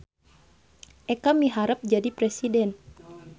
Eka miharep jadi presiden